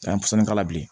A ye fuɲɛnko k'a la bilen